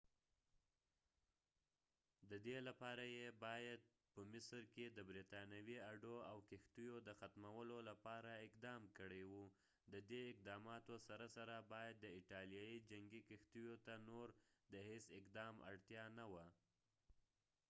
ددې لپاره یې باید په مصر کې د برطانوي اډو او کښتیو د ختمولو لپاره اقدام کړي و ددې اقداماتو سره سره باید د ایټالیې جنګی کښتیو ته نور د هیڅ اقدام اړتیا نه وه